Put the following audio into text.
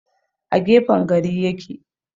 A gefen gari ya ke.